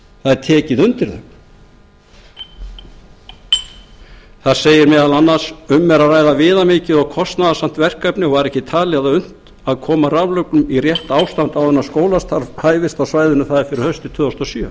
það er tekið undir þau þar segir meðal annars um er að ræða viðamikið og kostnaðarsamt verkefni og var ekki talið unnt að koma raflögnum í rétt ástand áður en skólastarf hæfist á svæðinu fyrir haustið tvö þúsund og sjö